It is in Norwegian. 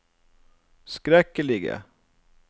skrekkelige